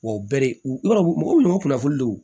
Wa bɛ u b'a dɔn mɔgɔw bɛ na u kunnafoni de don